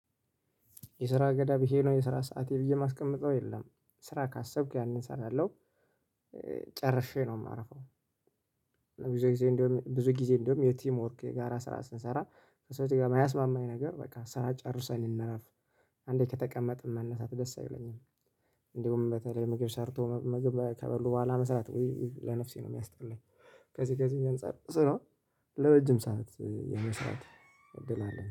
የስራ ገደብ ይሄነው የስራ ሰዓቴ ብዬ የማስቀምጠው የለም ስራ ካሰብኩ ያንን እሰራለሁ። ጨርሼነው የማረፈው። ብዙ ጊዜ እንደውም ብዙ ጊዜ እንደውም የቲም ወርክ የጋራ ስራ ስንሰራ ሴትዬዎ የማያስማማኝ ነገር በቃ ስራ ጨርሰን እንረፍ። አንዴ ከተቀመጥን መነሳት ደስ አይለኝም። እንደውም በተለይ ምግብ ሰርቶ መመገብ ከበሉ በኋላ መስራት ወይ ለነፍሴ ነው የሚያስጠላኝ። ከዚህ ከዚህ አንፃር ስራው ለረጅም ሰዓት የመስራት እድል አለ